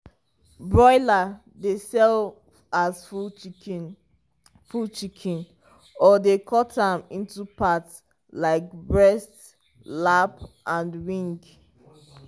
broiler dey sell as full chicken full chicken or dey cut am into part like breast lap and wing.